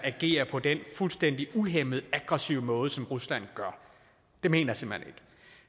agerer på den fuldstændig uhæmmede aggressive måde som rusland gør det mener